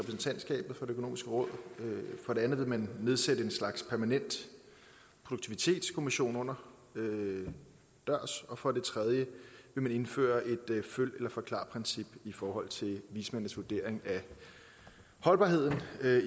økonomiske råd for det andet vil man nedsætte en slags permanent produktivitetskommission under dørs og for det tredje vil man indføre følg eller forklar princippet i forhold til vismændenes vurdering af holdbarheden